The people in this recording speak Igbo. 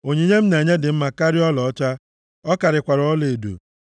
Onyinye m na-enye dị mma karịa ọlaọcha, ọ karịkwara ọlaedo.